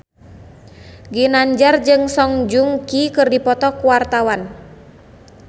Ginanjar jeung Song Joong Ki keur dipoto ku wartawan